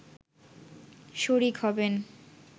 শরিক হবেন